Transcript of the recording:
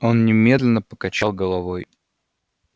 он немедленно покачал головой